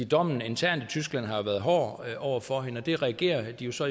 dommen internt i tyskland har været hård over for hende og det reagerer de jo så